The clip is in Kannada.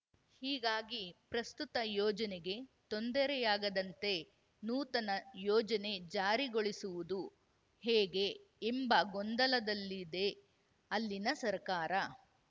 ಹೀಗಾಗಿ ಪ್ರಸ್ತುತ ಯೋಜನೆಗೆ ತೊಂದರೆಯಾಗದಂತೆ ನೂತನ ಯೋಜನೆ ಜಾರಿಗೊಳಿಸುವುದು ಹೇಗೆ ಎಂಬ ಗೊಂದಲದಲ್ಲಿದೆ ಅಲ್ಲಿನ ಸರ್ಕಾರ